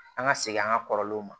An ka segin an ka kɔrɔlenw ma